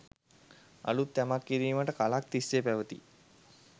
අලුත් යමක්‌ කිරීමට කලක්‌ තිස්‌සේ පැවති